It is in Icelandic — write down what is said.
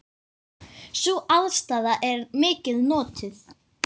Sú aðstaða er mikið notuð.